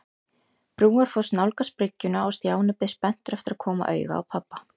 Brúarfoss nálgast bryggjuna og Stjáni beið spenntur eftir að koma auga á pabba.